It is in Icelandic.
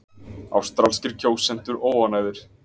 Ástralskir kjósendur óánægðir